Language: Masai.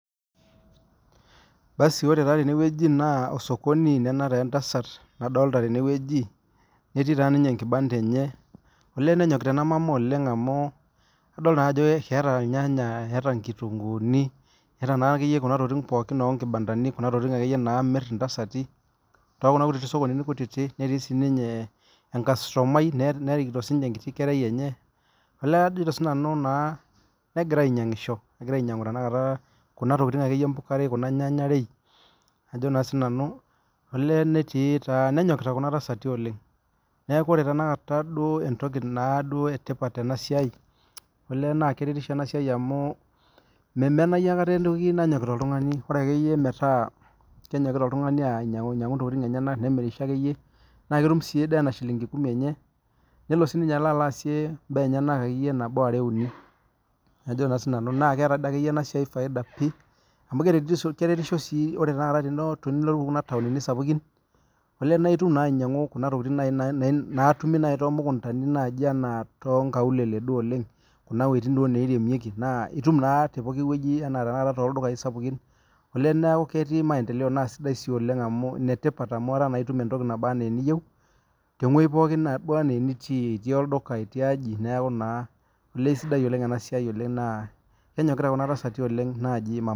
Basu ore na tenewueji na osokoni nena na entasat nadolita tenewueji netii ninye enkibanda enye olee nenyokita enamama oleng amu idol ajoo eeta irnyanya neeta nkitunguuni eeta akeyie kuna tokitin tokuna kutitik sokonnini kutitik netii sinye enkastomai netikito sinye enkiti kerai enye negira ainyangisho egira ainyangu kuna tokitin kuna nyanyarei nenyokita kuna tasati oleng neaku ore entoki etipat olee na kerertisho enasia amu memenayu etoki naasita oltungani bora akeyie metaa nemirisho akeyie na ketum si enaa shillingi kumi enye nelo aasie mbaa enyenak na keeta enasia faida oleng amu keretisho si ore tanakata pilotu ntauni sapukin na itum tekuna mukundani tonkaulele olenh na itum tepokki woi na itum entoki naba ana eniyieu tewoi poooki naba ena enitii tolduka, neaku sidai oleng enasia kenyokita kuna tasati oleng naji mama.